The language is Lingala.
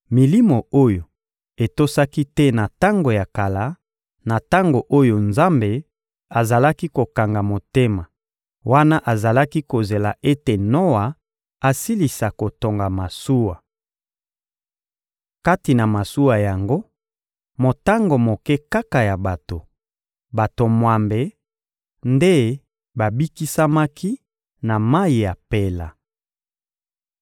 milimo oyo etosaki te na tango ya kala, na tango oyo Nzambe azalaki kokanga motema wana azalaki kozela ete Noa asilisa kotonga masuwa. Kati na masuwa yango, motango moke kaka ya bato, bato mwambe, nde babikisamaki na mayi ya mpela.